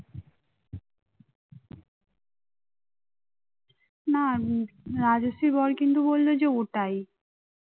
না রাজশ্রীর বর কিন্তু বলল যে ওটাই